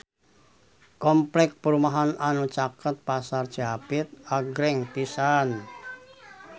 Kompleks perumahan anu caket Pasar Cihapit agreng pisan